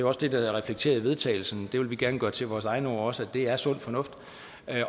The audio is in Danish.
også det der er reflekteret i vedtagelsen vi vil gerne gøre det til vores egne ord også det er sund fornuft